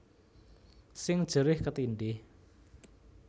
Sing jerih ketindhih